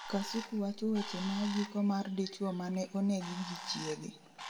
Kasuku wacho weche magiko mar dichuo mane onegi gi chiege